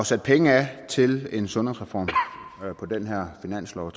sat penge af til en sundhedsreform på den her finanslov